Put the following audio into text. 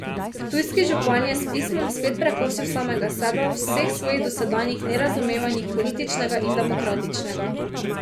Ptujski župan je s pismom spet prekosil samega sebe v vseh svojih dosedanjih nerazumevanjih političnega in demokratičnega.